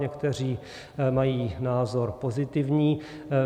Někteří mají názor pozitivní.